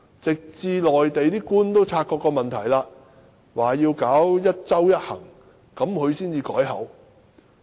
直至內地官員因察覺這個問題而實施"一周一行"，他才改變說法。